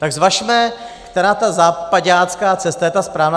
Tak zvažme, která ta zápaďácká cesta je ta správná.